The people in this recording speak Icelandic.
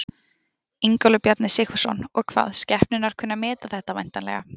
Ingólfur Bjarni Sigfússon: Og hvað, skepnurnar kunna að meta þetta væntanlega?